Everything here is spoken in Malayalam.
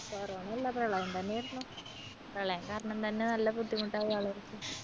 corona യല്ല പ്രളയം തന്നെയായിരുന്നു പ്രളയം കാരണം തന്നെ നല്ല ബുദ്ധിമുട്ടായി ആളുകൾക്ക്